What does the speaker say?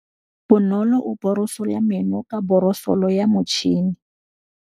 Bonolô o borosola meno ka borosolo ya motšhine.